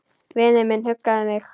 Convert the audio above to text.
Vinur minn huggaði mig.